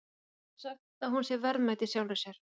Við getum sagt að hún sé verðmæt í sjálfri sér.